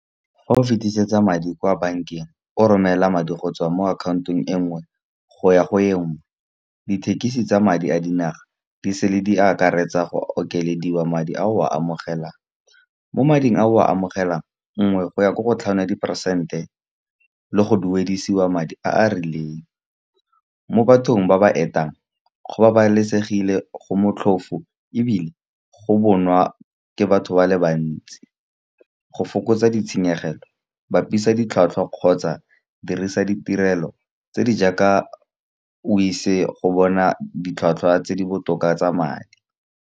Fa o fetisetsa madi kwa bank-eng o romela madi go tswa mo akhaontong engwe goya go engwe. Dithekisi tsa madi a dinaga di sele di akaretsa go okediwa madi a o a amogelang, mo mading a o a amogelang nngwe go ya ko go tlhano ya diperesente, le go duedisiwa madi a a rileng. Mo bathong ba ba etang go babalesegile go motlhofo ebile go bonwa ke batho ba le bantsi. Go fokotsa ditshenyegelo bapisa ditlhwatlhwa kgotsa dirisa ditirelo tse di jaaka, o ise go bona ditlhwatlhwa tse di botoka tsa madi.